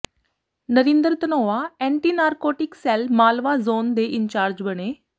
Narendra Dhanoa anti narcotic cell Malwa zone ਦੇ incharge ਬਣੇ